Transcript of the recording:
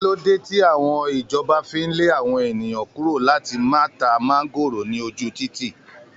Kí ló dé tí ìjọba fi ń lé àwọn ènìyàn kúrò láti má ta máńgóòrò ní ojú títì?